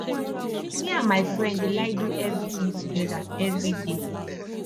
me and my friend dey like do everything together everyday